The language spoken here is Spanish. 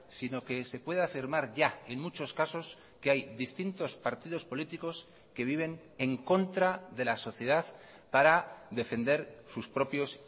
sino que se puede afirmar ya en muchos casos que hay distintos partidos políticos que viven en contra de la sociedad para defender sus propios